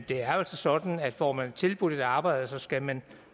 det er altså sådan at får man tilbudt et arbejde skal man